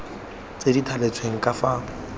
tse di thaletsweng ka fa